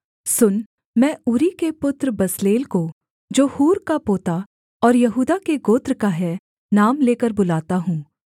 सुन मैं ऊरी के पुत्र बसलेल को जो हूर का पोता और यहूदा के गोत्र का है नाम लेकर बुलाता हूँ